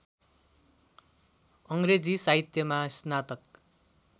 अङ्ग्रेजी साहित्यमा स्नातक